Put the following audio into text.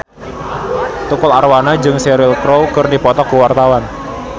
Tukul Arwana jeung Cheryl Crow keur dipoto ku wartawan